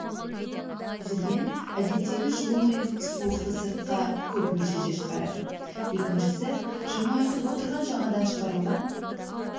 жүрген әдеттегісі жылу мен суықты сыртқа көп мөлшерде шығарады екіншісі жаңа айтып отырған жаңадан шығарылған